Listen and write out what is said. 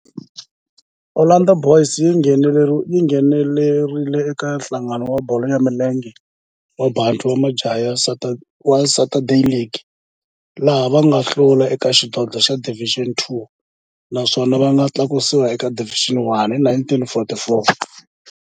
Orlando Boys yi nghenelerile eka Nhlangano wa Bolo ya Milenge wa Bantu wa Joni wa Saturday League, laha va nga hlula eka xidlodlo xa Division Two naswona va nga tlakusiwa eka Division One hi 1944.